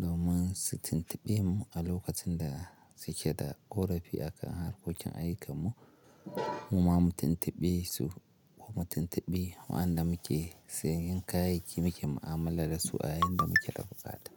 domin su tuntuɓe mu a lokacin da suke da ƙorafi akan harkokin ayyukanmu ma mu tuntuɓe su kuma tuntuɓi waɗanda muke siyen kayayyakin muke mu'amala da su a yayin da muke da buƙata.